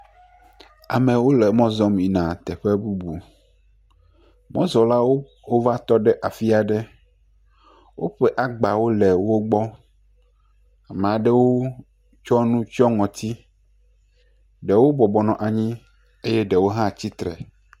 Amewo le mɔ zɔm yina teƒe bubu. Mɔzɔlawo wova tɔ ɖe afi aɖe. Woƒe agbawo le wogbɔ. Maɖewo tsɔ nu tsyɔ ŋɔti. Ɖewo bɔbɔ nɔ anyi eye ɖewo hã tsi tre.